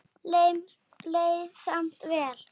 Leið samt vel.